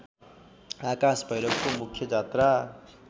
आकाश भैरवको मुख्य जात्रा